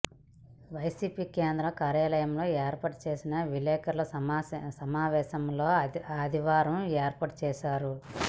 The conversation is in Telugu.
వైసిపి కేంద్ర కార్యాలయంలో ఏర్పాటు చేసిన విలేకరుల సమావేశం ఆదివారం ఏర్పాటు చేశారు